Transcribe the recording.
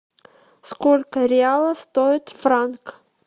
сколько реалов стоит франк